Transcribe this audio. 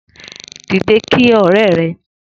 Dide kí ọrẹ rẹ